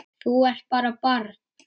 Þú ert bara barn.